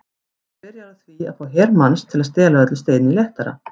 Maður byrjar á því að fá her manns til að stela öllu steini léttara.